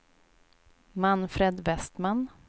Manfred Vestman